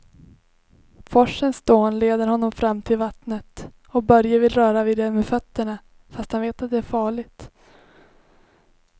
Forsens dån leder honom fram till vattnet och Börje vill röra vid det med fötterna, fast han vet att det är farligt.